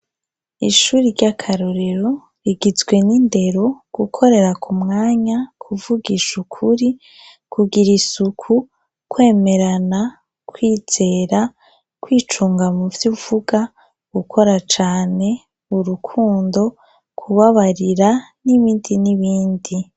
Ishuri ry'akarorero rigizwe n'indero, gukorera ku mwanya, kuvugisha ukuri kugira isuku, kwemerana, kwizera, kwicunga muvyo uvuga, gukora cane, urukundo, kubabarira, n'ibindi n'ibindi.